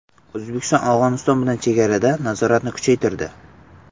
O‘zbekiston Afg‘oniston bilan chegarada nazoratni kuchaytirdi.